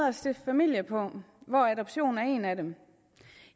at stifte familie på og adoption er en af dem